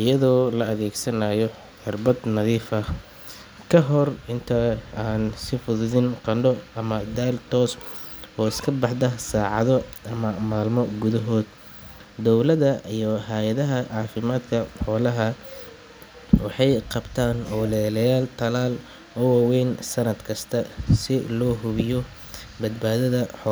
iyadho la adegsanayo cirbad nadiifah kahor intaa aan sifudin qando ama dal tos oo iskabaxda sacado ama malmo gudahod dawlada iyo hayada cafimadka xolaha waxet qabta oo leleyan talal oo wa weyn sanad kasta sii lo xubiyo badbadhada.